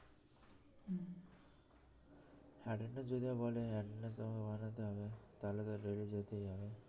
attendance যদি বলে attendance তাহলে তো daily যেতেই হবে